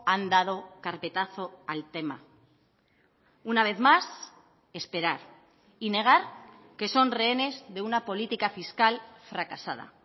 han dado carpetazo al tema una vez más esperar y negar que son rehenes de una política fiscal fracasada